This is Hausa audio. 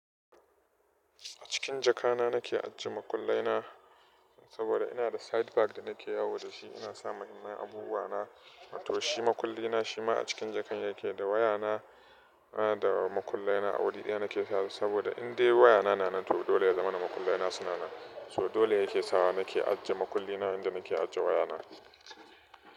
A cikin jaka na nake ajiye makullai na saboda ina da side bag da nake yawo da shi. Ina sa mahimman abubuwa na. Wato shi makulli na shi ma a cikin jaka yake da waya na da makullai na a wuri ɗaya nake sa su saboda in dai waya na na nan to dole ya zama makullai na suna nan. So dole yake sawa nake ajiye makulli na inda nake ajiye waya na.